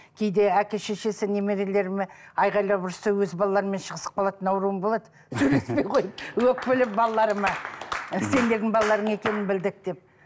кейде әке шешесі немерелеріме айқайлап ұрысса өз балаларыммен шығысып қалатын ауруым болады сөйлеспей қойып өкпелеп балаларыма ы сендердің балаларың екенін білдік деп